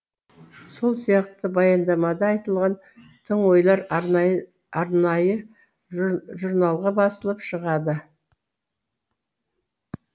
сол сияқты баяндамада айтылған тың ойлар арнайы журналға басылып шығады